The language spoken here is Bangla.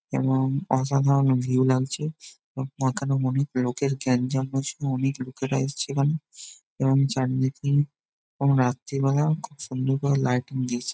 এবং অসাধারণ ভিউ লাগছে পাতানো অনকে লোকের গ্যাঞ্জাম অনেক লোকেরা এসেছে | এবং চারিদিকে রাত্রিবেলা খুব সুন্দর ভাবে লাইটিং দিয়েছে।